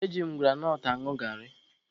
E ji m granọt añụ garị.